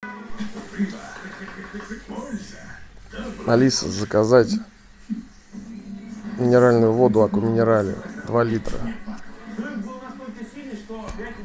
алиса заказать минеральную воду аква минерале два литра